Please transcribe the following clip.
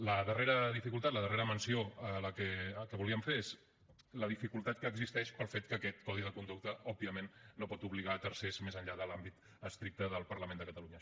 la darrera dificultat la darrera menció que volíem fer és la dificultat que existeix pel fet que aquest codi de conducta òbviament no pot obligar tercers més enllà de l’àmbit estricte del parlament de catalunya